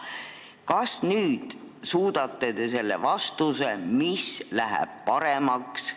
Kas te nüüd suudate selle vastuse, mis läheb paremaks, meile ka anda?